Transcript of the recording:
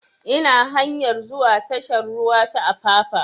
Ina hanyar zuwa tashar ruwa ta apapa